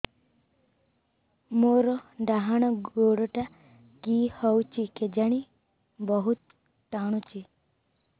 ମୋର୍ ଡାହାଣ୍ ଗୋଡ଼ଟା କି ହଉଚି କେଜାଣେ ବହୁତ୍ ଟାଣୁଛି